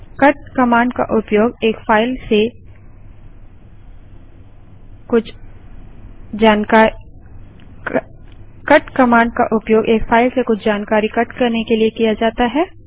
cut command का उपयोग एक फाइल से कुछ जानकारी कट करने के लिए किया जाता है